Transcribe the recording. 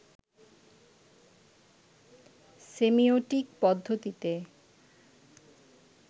semiotic পদ্ধতিতে